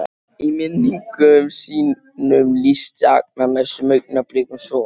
Í minningum sínum lýsti Agnar næstu augnablikum svo